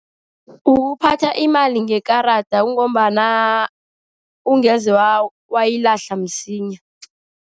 Ukuphatha imali ngekarada, kungombana ukungeze wayilahla msinya.